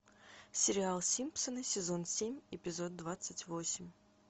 сериал симпсоны сезон семь эпизод двадцать восемь